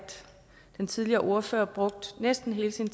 den tidligere ordfører brugte næsten hele sin